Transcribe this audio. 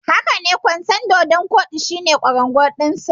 Hakane, kwanson dodon kodi shine kwarangwal dinsa.